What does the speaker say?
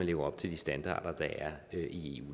lever op til de standarder der er i